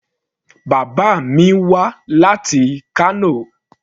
Bàbá mi wá láti Kano.